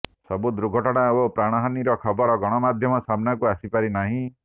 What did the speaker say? ସବୁ ଦୁର୍ଘଟଣା ଓ ପ୍ରାଣହାନିର ଖବର ଗଣମାଧ୍ୟମ ସାମନାକୁ ଆସିପାରିନାହିଁ